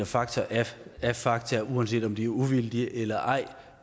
fakta er fakta uanset om de er uvildige eller ej